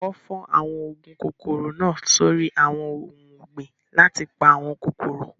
Wọ́n fọ́ àwọn oògùn kòkòrò náà sórí àwọn ohun ọ̀gbìn láti pa àwọn kòkòrò.